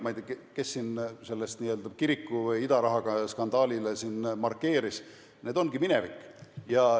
Ma ei tea, kes siin seda kiriku või idaraha skandaali markeeris, aga see ongi minevik.